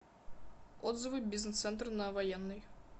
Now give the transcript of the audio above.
отзывы бизнес центр на военной